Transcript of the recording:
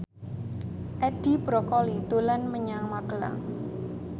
Edi Brokoli dolan menyang Magelang